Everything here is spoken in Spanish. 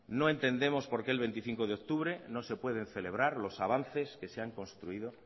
no entendemos por qué el veinticinco de octubre no se pueden celebrar los avances que se han construido